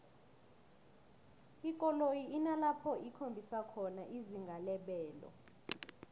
ikoloyi inalapho ikhombisa khona izinga lebelo